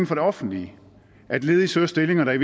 for det offentlige at ledige søger stillinger der i